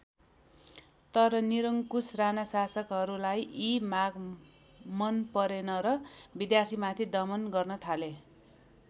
तर निरंकुश राणा शासकहरूलाई यी माग मन परेन र विद्यार्थीमाथि दमन गर्न थाले।